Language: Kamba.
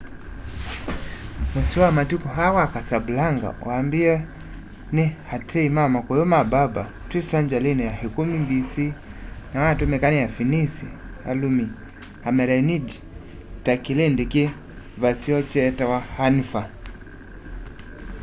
mũsyĩ wa matuku aa wa casablanca wambĩĩwe nĩ ateĩ ma makũyũ ma berber twi sengyalini ya ikumi b.c na watũmĩka nĩ afĩnĩsĩ alũmĩ amelenĩdĩ ta kĩlĩndĩ ki vaseo kyetawa anfa